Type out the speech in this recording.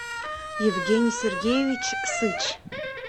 евгений сергеевич сыч